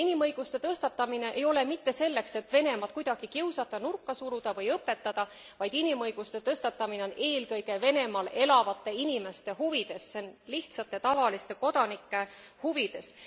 Ja inimõiguste tõstatamine ei ole mitte selleks, et Venemaad kuidagi kiusata, nurka suruda või õpetada, vaid inimõiguste tõstatamine on eelkõige Venemaal elavate inimeste huvides, see on lihtsate ja tavaliste kodanike huvides.